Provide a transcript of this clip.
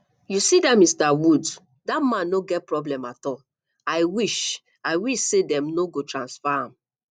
you see dat mr woods dat man no get problem at all i wish i wish say dem no go transfer am